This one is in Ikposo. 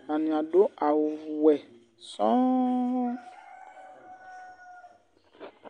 atani adu awù wɛ sɔ̃nn